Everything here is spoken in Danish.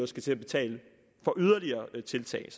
skal til at betale for yderligere tiltag